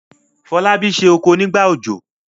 Folabi se okò nígbà òjò.